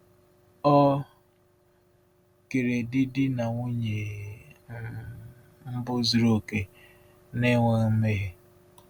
Ọ kere di di na nwunye um mbụ zuru oke, na-enweghị mmehie.